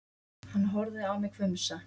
Hann horfði á mig hvumsa.